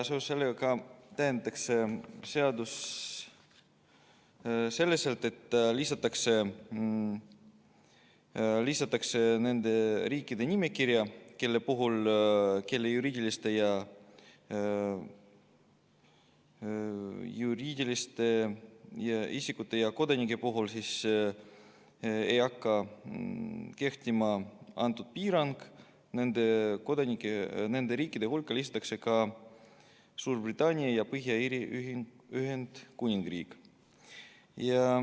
Seoses sellega täiendatakse seadust selliselt, et nende riikide nimekirja, kelle juriidiliste isikute ja kodanike puhul ei hakka kehtima kõnealune piirang, nende riikide hulka lisatakse ka Suurbritannia ja Põhja-Iiri Ühendkuningriik.